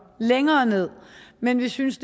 længere ned men vi synes